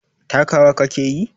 Takawa ka ke yi?